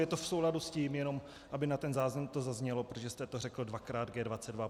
Je to v souladu s tím, jenom aby na ten záznam to zaznělo, protože jste řekl dvakrát G22.